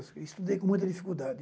Estudei com muita dificuldade.